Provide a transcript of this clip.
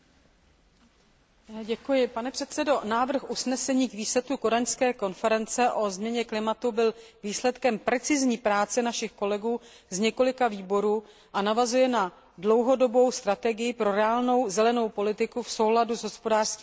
Návrh usnesení o výsledku summitu v Kodani o změně klimatu byl výsledkem precizní práce našich kolegů z několika výborů a navazuje na dlouhodobou strategii pro reálnou zelenou politiku v souladu s hospodářskými cíli Unie v globalizovaném světě.